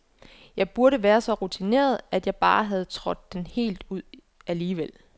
Jeg burde være så rutineret, at jeg bare havde trådt den helt ud alligevel.